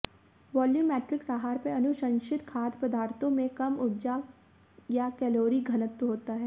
volumetrics आहार पर अनुशंसित खाद्य पदार्थों में कम ऊर्जा या कैलोरी घनत्व होता है